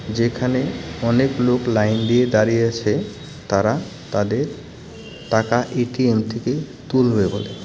যেখানে অনেক লোক লাইন দিয়ে দাঁড়িয়ে আছে তারা তাদের টাকা এ_টি_এম থেকে তুলবে বলে .